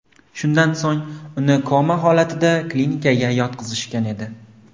Shundan so‘ng uni koma holatida klinikaga yotqizishgan edi.